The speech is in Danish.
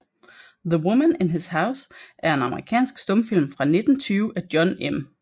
The Woman in His House er en amerikansk stumfilm fra 1920 af John M